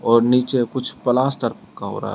और नीचे कुछ प्लास्टर रहा है।